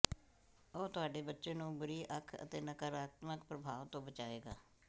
ਉਹ ਤੁਹਾਡੇ ਬੱਚੇ ਨੂੰ ਬੁਰੀ ਅੱਖ ਅਤੇ ਨਕਾਰਾਤਮਕ ਪ੍ਰਭਾਵ ਤੋਂ ਬਚਾਏਗਾ